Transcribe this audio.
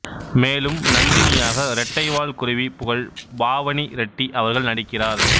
மேலும் நந்தினியாக ரெட்டை வால் குருவி புகழ் பாவனி ரெட்டி அவர்கள் நடிக்கிறார்